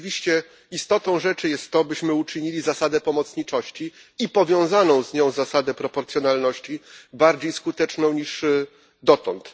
Rzeczywiście istotą rzeczy jest to, byśmy uczynili zasadę pomocniczości i powiązaną z nią zasadę proporcjonalności bardziej skutecznymi niż dotąd.